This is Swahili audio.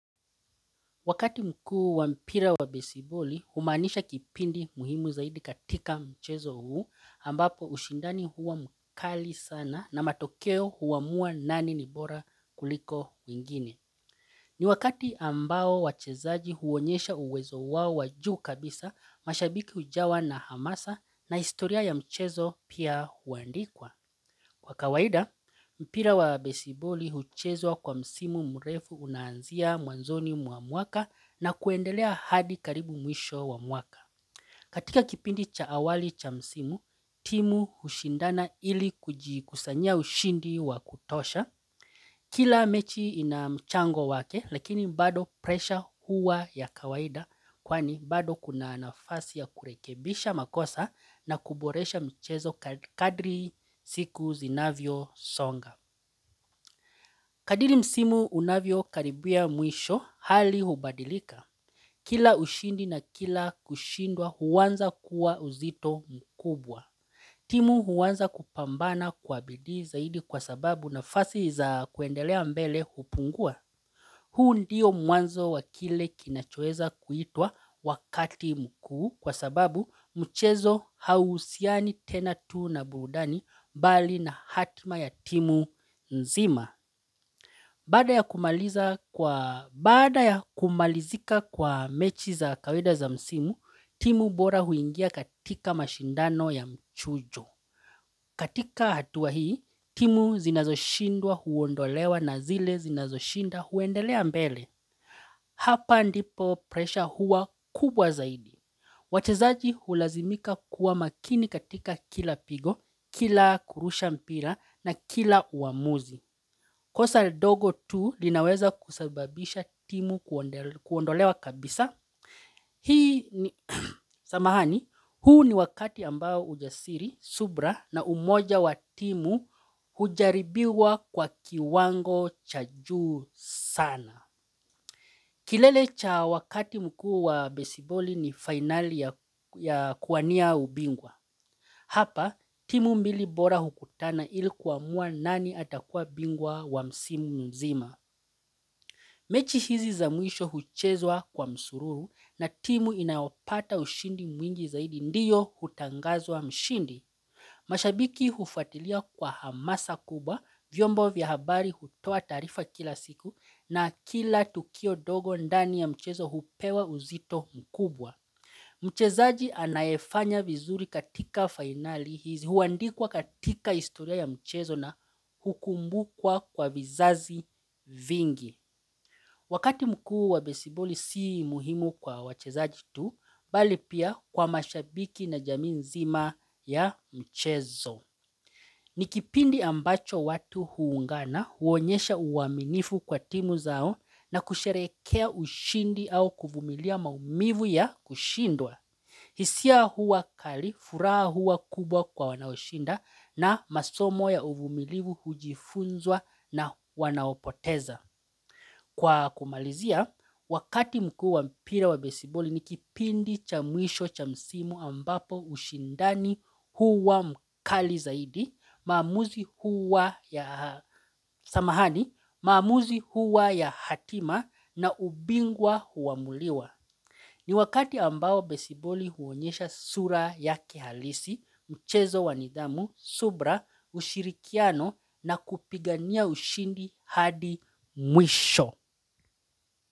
Wakati mkuu wa mpira wa besiboli, humanisha kipindi muhimu zaidi katika mchezo huu ambapo ushindani huwa mkali sana na matokeo huamua nani nibora kuliko mwingine. Ni wakati ambao wachezaji huonyesha uwezo wao wajuu kabisa mashabiki hujawa na hamasa na historia ya mchezo pia huandikwa. Kwa kawaida, mpira wa besiboli huchezwa kwa msimu mrefu unanzia mwanzoni mwa mwaka na kuendelea hadi karibu mwisho wa mwaka. Katika kipindi cha awali cha msimu, timu hushindana ili kujikusanyia ushindi wa kutosha. Kila mechi inamchango wake lakini bado presha huwa ya kawaida kwani bado kuna nafasi ya kurekebisha makosa na kuboresha mchezo kadri siku zinavyo songa. Kadri msimu unavyo karibia mwisho hali hubadilika. Kila ushindi na kila kushindwa huanza kuwa uzito mkubwa. Timu huanza kupambana kwa bidi zaidi kwa sababu nafasi za kuendelea mbele hupungua. Huu ndiyo mwanzo wa kile kinachoweza kuitwa wakati mkuu kwa sababu mchezo hau husiani tena tu na burudani bali na hatima ya timu nzima. Kwa baada ya kumalizika kwa mechi za kawaida za msimu, timu bora huingia katika mashindano ya mchujo. Katika hatuwa hii, timu zinazoshindwa huondolewa na zile zinazoshinda huendelea mbele. Hapa ndipo presha huwa kubwa zaidi. Wachezaji hulazimika kuwa makini katika kila pigo, kila kurusha mpira na kila uamuzi. Kosa dogo tu linaweza kusababisha timu kuondolewa kabisa Hii ni samahani huu ni wakati ambao ujasiri subira na umoja wa timu hujaribiwa kwa kiwango cha juu sana kilele cha wakati mkuu wa besiboli ni finali ya kuwania ubingwa Hapa timu mbili bora hukutana ilikuamuwa nani atakuwa bingwa wa msimu mzima mechi hizi zamwisho huchezwa kwa msururu na timu inayopata ushindi mwingi zaidi ndiyo hutangazwa mshindi. Mashabiki ufuatilia kwa hamasa kubwa, vyombo vya habari hutoa taarifa kila siku na kila tukio dogo ndani ya mchezo hupewa uzito mkubwa. Mchezaji anayefanya vizuri katika finali hizi huandikwa katika historia ya mchezo na hukumbukwa kwa vizazi vingi. Wakati mkuu wa besiboli si muhimu kwa wachezaji tu, bali pia kwa mashabiki na jamii nzima ya mchezo. Nikipindi ambacho watu huungana huonyesha uaminifu kwa timu zao na kusherekea ushindi au kuvumilia maumivu ya kushindwa. Hisia hua kali, furaha hua kubwa kwa wanaoshinda na masomo ya uvumilivu hujifunzwa na wanaopoteza. Kwa kumalizia, wakati mkuu wa mpira wa besiboli ni kipindi cha mwisho cha msimu ambapo ushindani huwa mkali zaidi, maamuzi huwa ya hatima na ubingwa huamuliwa. Ni wakati ambao besiboli huonyesha sura ya kihalisi, mchezo wanidhamu, subira, ushirikiano na kupigania ushindi hadi mwisho.